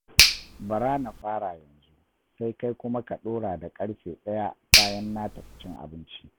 Bari na fara yanzu, sai kai kuma ka ɗora da ƙarfe ɗaya bayan na tafi cin abinci